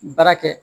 Baara kɛ